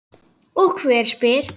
Og hver spyr?